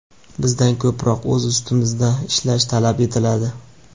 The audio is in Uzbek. bizdan ko‘proq o‘z ustimizda ishlash talab etiladi.